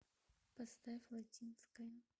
поставь латинская